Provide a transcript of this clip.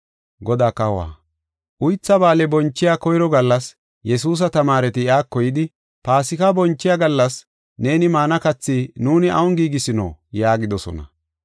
Uytha Ba7aale bonchiya koyro gallas, Yesuusa tamaareti iyako yidi, “Paasika bonchiya gallas neeni maana kathi nuuni awun giigisino?” yaagidosona.